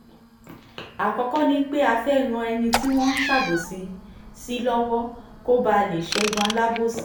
àkọ́kọ́ ni pé a fẹ́ẹ́ ran ẹni tí wọ́n ń ṣàbòsí sí lọ́wọ́ kó bàa lè ṣẹ́gun alábòsí